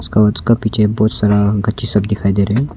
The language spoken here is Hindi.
उसका उसका पीछे बहुत सारा गच्ची सब दिखाई दे रहे है।